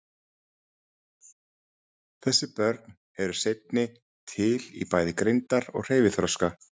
Þessi börn eru seinni til í bæði greindar- og hreyfiþroska.